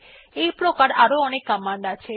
এইপ্রকার আরো অনেক কমান্ড আছে